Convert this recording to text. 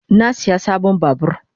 Na siya sabon babur.